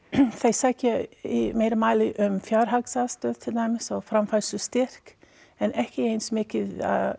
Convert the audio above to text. þeir sækja í meira mæli um fjárhagsaðstoð til dæmis og framfærslustyrk en ekki eins mikið